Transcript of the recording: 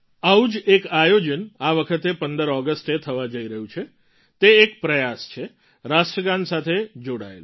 આવું જ એક આયોજન આ વખતે ૧૫ ઑગસ્ટે થવા જઈ રહ્યું છે તે એક પ્રયાસ છે રાષ્ટ્રગાન સાથે જોડાયેલો